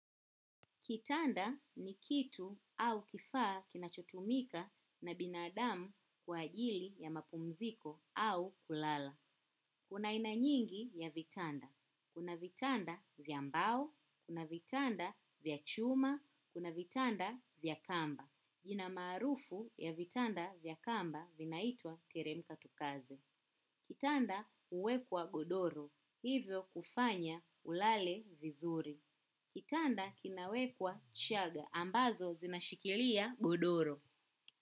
Kitanda ni kitu au kifaa kinachotumika na binadamu kwa ajili ya mapumziko au kulala. Kuna aina nyingi ya vitanda. Kuna vitanda vya mbao, kuna vitanda vya chuma, kuna vitanda vya kamba. Jina maarufu ya vitanda vya kamba vinaitwa teremka tukaze. Kitanda huwekwa godoro, hivyo kufanya ulale vizuri. Kitanda kinawekwa chaga ambazo zinashikilia godoro.